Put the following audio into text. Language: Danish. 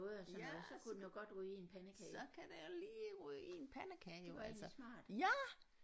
Ja så så kan det lige ryge i en pandekage jo altså ja